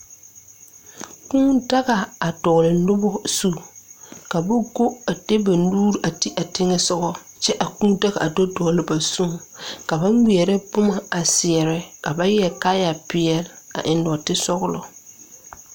Kūū daga dɔgle nobɔ zu ka ba go a de ba nuure a ti a teŋɛsugɔ kyɛ a kūū daga a do dɔgle ba zuŋ ka ba ngmɛrɛ boma a seɛrɛ ka ba yɛre kaayɛ peɛle a eŋ nɔɔte sɔglɔ.